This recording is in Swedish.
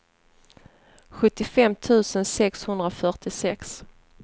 sjuttiofem tusen sexhundrafyrtiosex